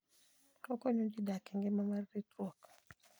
Okonyo ji dak e ngima mar ritruok.